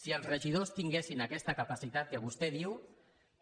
si els regidors tinguessin aquesta capacitat que vostè diu